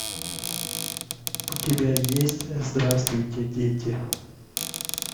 у тебя есть здравствуйте дети